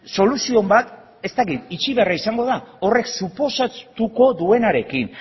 soluzio on bat ez dakit itxi beharra izango da horrek suposatuko duenarekin